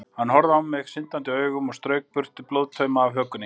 Hann horfði á mig syndandi augum og strauk burtu blóðtauma af hökunni.